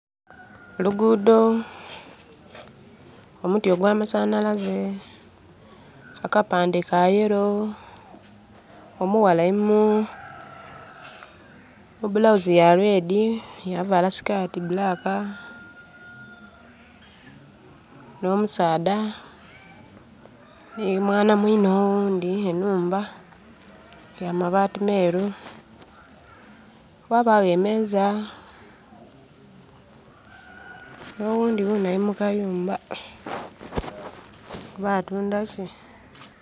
Oluguudo, omuti ogwa masanalaze, akapande ka yellow, omughala alimu bulawuzi ya red yavala sikati black no musaadha ni mwana mwine owundi enhumba ya mabaati meeru wabawo emeza. No wundi wuno ali mukayumba oba atunda ki?